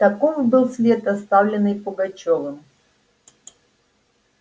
таков был след оставленный пугачёвым